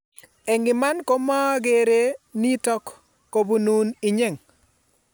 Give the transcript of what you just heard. Eng' iman ko komakere nitok kubunun inye